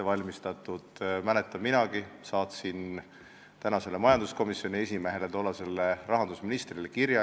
Mäletan, et minagi saatsin praegusele majanduskomisjoni esimehele, tollasele rahandusministrile kirja.